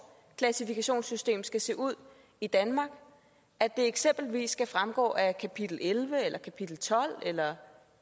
klassifikationssystem skal se ud i danmark at det eksempelvis skal fremgå af kapitel elleve eller kapitel tolv eller